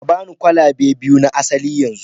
ba ni kwalabe biyu na asali yanzu